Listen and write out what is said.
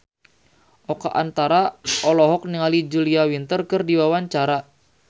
Oka Antara olohok ningali Julia Winter keur diwawancara